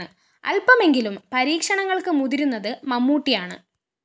അല്‍പമെങ്കിലും പരീക്ഷണങ്ങള്‍ക്ക് മുതിരുന്നത് മമ്മൂട്ടിയാണ്